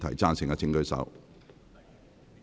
贊成的請舉手。